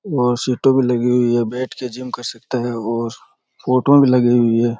वो सीटें भी लगी हुई है बैठ के भी जिम कर सकते हैं और फोटूऐं भी लगी हुई है।